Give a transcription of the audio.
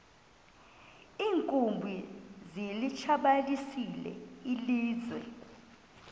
iinkumbi zilitshabalalisile ilizwe